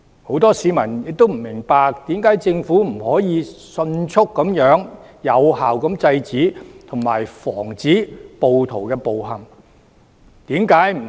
很多市民亦不明白，為何政府不能迅速有效地制止及防止暴徒的暴行？